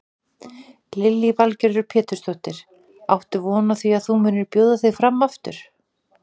Lillý Valgerður Pétursdóttir: Áttu von á því að þú munir bjóða þig fram aftur?